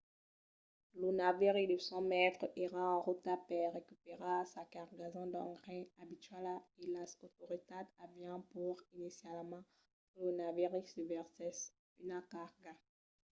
lo naviri de 100 mètres èra en rota per recuperar sa cargason d'engrais abituala e las autoritats avián paur inicialament que lo naviri ne versèsse una carga